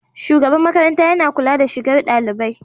shugaban makaranta yana kula da shigar dalibai.